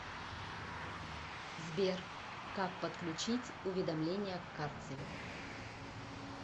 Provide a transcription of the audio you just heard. сбер как подключить уведомления к карте